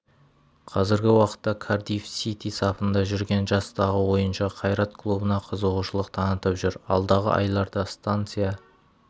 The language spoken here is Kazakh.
қазіргі уақытта кардифф сити сапында жүрген жастағы ойыншы қайрат клубына қызығушылық танытып жүр алдағы айларда станция